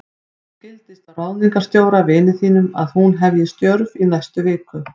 Mér skildist á ráðningarstjóra, vini þínum, að hún hefji störf í næstu viku.